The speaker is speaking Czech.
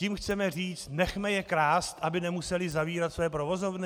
Tím chceme říct nechme je krást, aby nemuseli zavírat své provozovny?